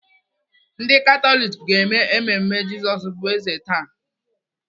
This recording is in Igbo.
Ndị Katọlik ga-eme mmemme Jizọs bụ eze taa.